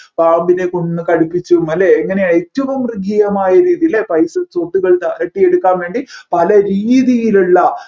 പാമ്പിനെ കൊണ്ട് കടിപ്പിച്ചും അല്ലെ ഇങ്ങനെ ഏറ്റവും മൃഗീയമായ രീതിയിൽ അല്ലെ പൈസ സ്വത്തുക്കൾ തട്ടിയെടുക്കാൻ വേണ്ടി പല രീതിയിലുള്ള